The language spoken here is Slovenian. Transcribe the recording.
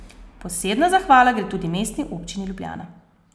Posebna zahvala gre tudi Mestni občini Ljubljana.